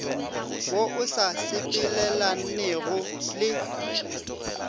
wo o sa sepelelanego le